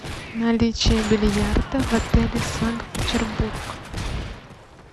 наличие бильярда в отеле санкт петербург